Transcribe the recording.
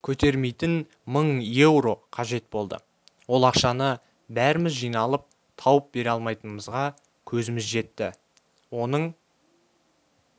көтермейтін мың еуро қажет болды ол ақшаны бәріміз жиналып тауып бере алмайтынымызға көзіміз жетті оның